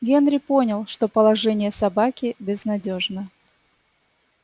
генри понял что положение собаки безнадёжно